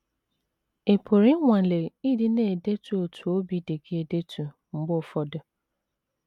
Ị pụrụ ịnwale ịdị na - edetu otú obi dị gị edetu mgbe ụfọdụ.